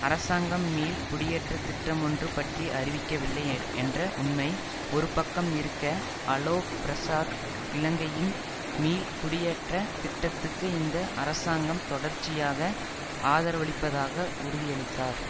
அரசாங்கம் மீள் குடியேற்ற திட்டம் ஒன்று பற்றி அறிவிக்கவில்லை என்ற உண்மை ஒரு பக்கம் இருக்க அலோக் பிரசாத் இலங்கையின் மீள் குடியேற்ற திட்டத்துக்கு இந்த அரசாங்கம் தொடர்ச்சியாக ஆதரவளிப்பதாக உறுதியிளித்தார்